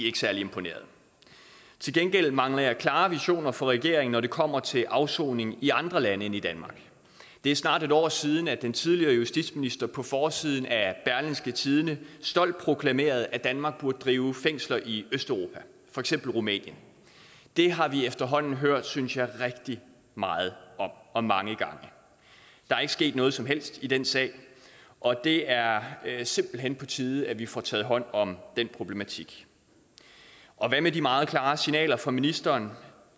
ikke særlig imponeret til gengæld mangler jeg klare visioner fra regeringen når det kommer til afsoning i andre lande end i danmark det er snart et år siden at den tidligere justitsminister på forsiden af af berlingske tidende stolt proklamerede at danmark burde drive fængsler i østeuropa for eksempel rumænien det har vi efterhånden hørt jeg synes jeg rigtig meget om og mange gange der er ikke sket noget som helst i den sag og det er simpelt hen på tide at vi får taget hånd om den problematik hvad med de meget klare signaler fra ministeren